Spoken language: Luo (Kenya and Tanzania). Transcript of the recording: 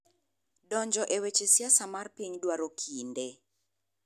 Donjo e weche siasa mar piny dwaro kinde.